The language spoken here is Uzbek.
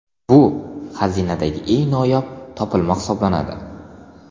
Bu xazinadagi eng noyob topilma hisoblanadi.